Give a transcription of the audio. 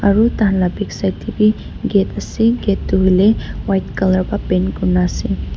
aro tai khan laga backside te bi gate ase gate toh hoile white color ba paint kuri na ase.